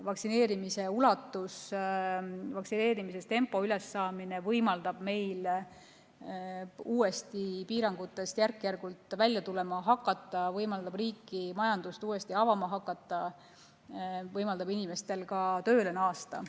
Vaktsineerimise ulatuse, vaktsineerimise tempo võimaldab meil piirangutest järk-järgult välja tulema hakata, võimaldab riiki ja majandust uuesti avama hakata, võimaldab inimestel ka tööle naasta.